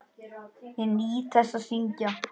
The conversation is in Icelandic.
Ég nýt þess að syngja.